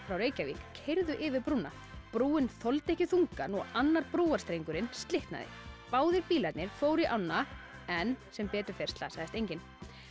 frá Reykjavík keyrðu yfir brúna brúin þoldi ekki þungann og annar slitnaði báðir bílarnir fóru í ána en sem betur fer slasaðist enginn